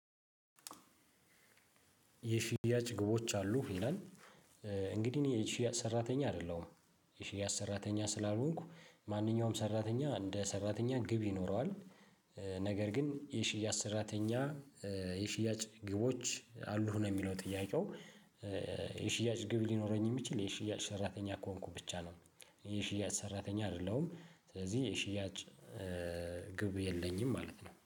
የሽያጭ ግቦች አሉ? ይላል እንግዲህ እኔ የሽያጭ ሰራተኛ አይደለሁም፤ የሽያጭ ሰራተኛ ስላልሆንኩ ማንኛውም ሰራተኛ እንደ ሰራተኛ ግብ ይኖረዋል፤ ነገር ግን የሽያጭ ሰራተኛ የሽያጭ ግቦች አሉህ? ነው የሚለው ጥያቄው የሽያጭ ግብ ሊኖረኝ የሚችል የሽያጭ ሰራተኛ ከሆንኩ ብቻ ነው። የሽያጭ ሰራተኛ አይደለሁም ስለዚህ የሽያጭ ግብ የለኝም ማለት ነው።